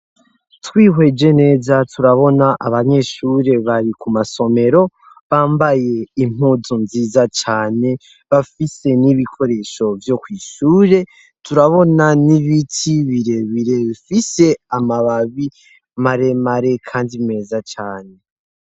Twihweje neza turabona abanyeshure bari ku masomero bambaye impuzu nziza cane bafise n'ibikoresho vyo kw'ishure turabona n'ibiti birebirefise amababi maremare, kandi meza cane.